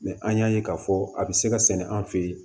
Mɛ an y'a ye k'a fɔ a bɛ se ka sɛnɛ an fe yen